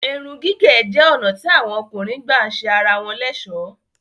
Èrùn-gígẹ̀ jẹ́ onà tí awọn ọ̀kùnrin gbà sẹ ara wọn l'ẹ̀sọ́.